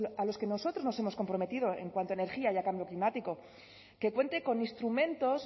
a los que nosotros nos hemos comprometido en cuanto a energía y cambio climático que cuente con instrumentos